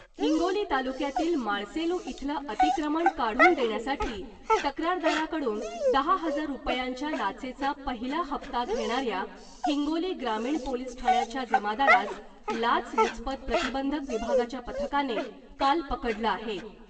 हिंगोली तालुक्यातील माळसेलू इथलं अतिक्रमण काढून देण्यासाठी तक्रारदाराकडून दहा हजार रुपयांच्या लाचेचा पहिला हप्ता घेणाऱ्या हिंगोली ग्रामीण पोलिस ठाण्याच्या जमादारास लाचलुचपत प्रतिबंधक विभागाच्या पथकाने काल पकडलं आहे .